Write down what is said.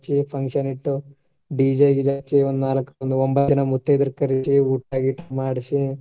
Function ಇಟ್ಟು DJ ಗಿಜೆ ಹಚ್ಚಿ ನಾಲ್ಕ್ ಒಂಬತ್ತ್ ಜನಾ ಮುತ್ತೈದೆರ್ ಕರಿಸಿ ಊಟಾ ಗಿಟಾ ಮಾಡಿಸಿ.